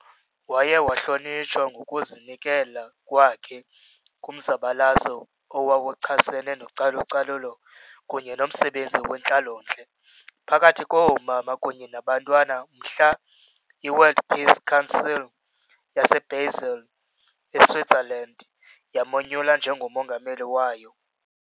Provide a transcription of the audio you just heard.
Waye wahlonitshwa ngokuzinikela kwakhe kumzabalazo owawuchasene nocalu-calulo kunye nomsebenzi wentlalo-ntle phakathi koomama kunye nabantwana, mhla i- World Peace Council yase- Basel, e- Switzerland yamonyula njengo mongameli wayo.